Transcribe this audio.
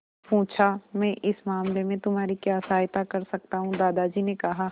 पूछा मैं इस मामले में तुम्हारी क्या सहायता कर सकता हूँ दादाजी ने कहा